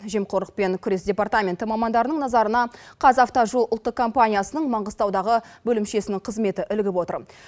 жемқорлықпен күрес департаменті мамандарының назарына қазавтожол ұлттық компаниясының маңғыстаудағы бөлімшесінің қызметі ілігіп отыр